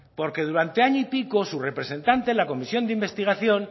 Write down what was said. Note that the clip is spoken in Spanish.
porque durante año y pico su representante en la comisión de investigación